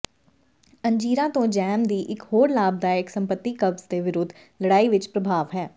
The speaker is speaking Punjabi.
ਅੰਜੀਰਾਂ ਤੋਂ ਜੈਮ ਦੀ ਇਕ ਹੋਰ ਲਾਭਦਾਇਕ ਸੰਪਤੀ ਕਬਜ਼ ਦੇ ਵਿਰੁੱਧ ਲੜਾਈ ਵਿਚ ਪ੍ਰਭਾਵ ਹੈ